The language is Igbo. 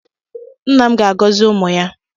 Nna m ga-agọzi ụmụ ya.